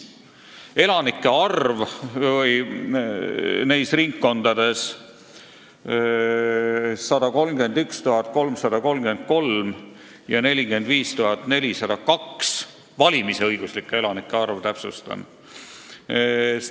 Elanike arv neis ringkondades on 131 333 ja 45 402, valimisõiguslike elanike arv, täpsustan.